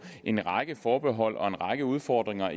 en række forbehold og en række udfordringer